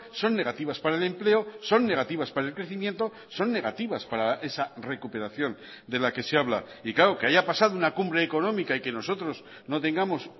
son negativas para el empleo son negativas para el crecimiento son negativas para esa recuperación de la que se habla y claro que haya pasado una cumbre económica y que nosotros no tengamos